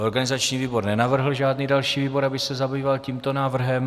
Organizační výbor nenavrhl žádný další výbor, aby se zabýval tímto návrhem.